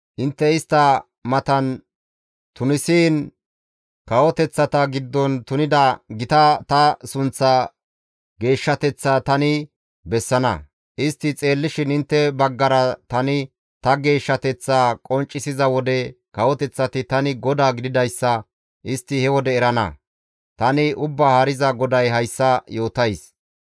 Intte istta matan tunisiin kawoteththata giddon tunida gita ta sunththaa geeshshateththaa tani bessana. Istti xeellishin intte baggara tani ta geeshshateththaa qonccisiza wode kawoteththati tani GODAA gididayssa istti he wode erana. Tani Ubbaa Haariza GODAY hayssa yootays.